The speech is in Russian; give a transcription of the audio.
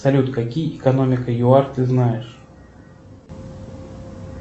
салют какие экономика юар ты знаешь